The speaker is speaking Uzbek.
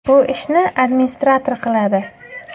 Bu ishni administrator qiladi.